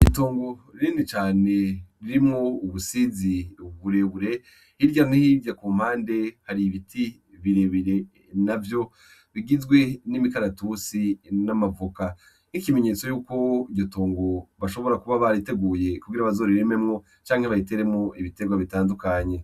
Gitongo ririni cane ririmwo ubusizi uburebure irya me hirya ku mpande hari ibiti birebire na vyo bigizwe n'imikaratusi n'amavuka nk'ikimenyetso yuko ryotongo bashobora kuba bariteguye kubira bazora irimemwo canke bayiteremwo ibiterwa bitandukanye.